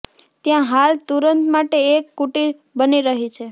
ત્યાં હાલ તુરત માટે એક કુટીર બની રહી છે